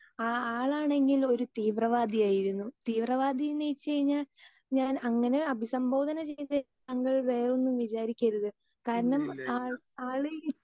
Speaker 2 ആ ആളാണെങ്കിൽ ഒരു തീവ്രവാദിയായിരുന്നു തീവ്രവാദിന്ന് വെച്ചു കഴിഞ്ഞാൽ ഞാൻ അങ്ങനെ അഭിസംബോധന ചെയ്ത് താങ്കൾ വേറൊന്നും വിചാരിക്കരുത്. കാരണം ആള് ആള്